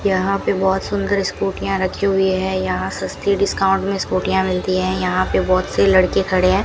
यहां पे बहोत सुंदर स्कूटीयां रखी हुई हैं यहां सस्ती डिस्काउंट में स्कूटीयां मिलती हैं यहां पे बहोत से लड़के खड़े हैं।